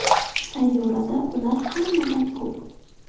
Sayyorada ular hammadan ko‘p.